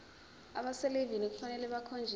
abaselivini kufanele bakhonjiswe